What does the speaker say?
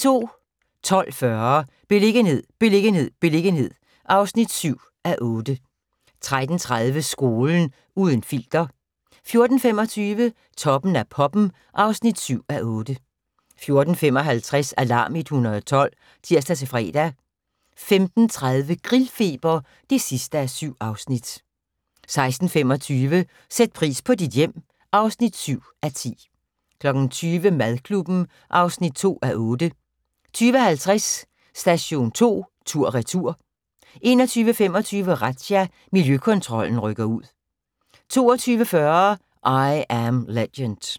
12:40: Beliggenhed, beliggenhed, beliggenhed (7:8) 13:30: Skolen – uden filter 14:25: Toppen af poppen (7:8) 14:55: Alarm 112 (tir-fre) 15:30: Grillfeber (7:7) 16:25: Sæt pris på dit hjem (7:10) 20:00: Madklubben (2:8) 20:50: Station 2 tur/retur 21:25: Razzia – Miljøkontrollen rykker ud 22:40: I Am Legend